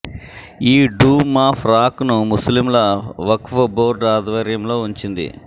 ఈ dome of rock ను ముస్లింల వక్ఫ్ బోర్డు ఆధ్వర్యంలో వుంచింది